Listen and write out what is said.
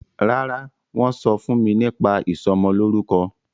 ràrá wón sọfún mí nípa ìsomo lórúko